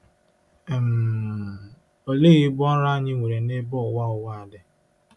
um Olee ibu ọrụ anyị nwere nebe ụwa ụwa dị?